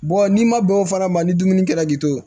n'i ma bɛn o farama ma ni dumuni kɛra k'i to